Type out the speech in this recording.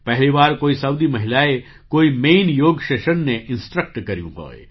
પહેલી વાર કોઈ સાઉદી મહિલાએ કોઈ મેઇન યૉગ સેશનને ઇન્સ્ટ્રક્ટ કર્યું હોય